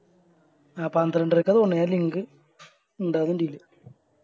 അഹ് പന്ത്രണ്ടരക്ക തോന്നുണു ഇണ്ടാവു എൻറെൽ